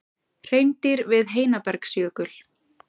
Hreindýr við Heinabergsjökul.